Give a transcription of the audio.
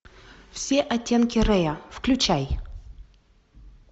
все оттенки рэя включай